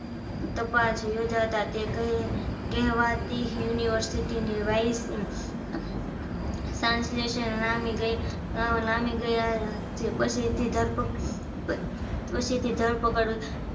તપાસ યોજાતા તે કહે કહેવાતી university ની વાઈસ સંશ્લેષણ નામી નામી ગયા છે પછીથી ધરપકડ પછીથી ધરપકડ